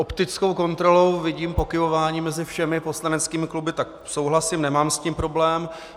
Optickou kontrolou vidím pokyvování mezi všemi poslaneckými kluby, tak souhlasím, nemám s tím problém.